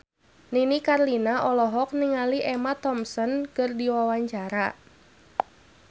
Nini Carlina olohok ningali Emma Thompson keur diwawancara